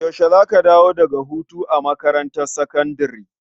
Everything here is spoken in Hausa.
Yaushe za a dawo daga hutu a makarantar sakandare?